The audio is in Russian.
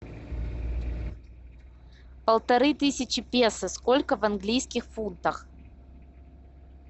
полторы тысячи песо сколько в английских фунтах